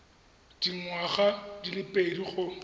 dingwaga di le pedi go